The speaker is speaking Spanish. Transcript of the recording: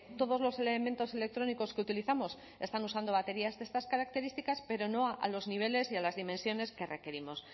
todos los elementos electrónicos que utilizamos ya están usando baterías de estas características pero no a los niveles y a las dimensiones que requerimos